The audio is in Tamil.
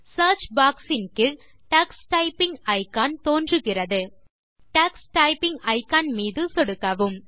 சியர்ச் பாக்ஸ் இன் கீழ் டக்ஸ் டைப்பிங் இக்கான் தோன்றுகிறது டக்ஸ் டைப்பிங் இக்கான் மீது சொடுக்கவும்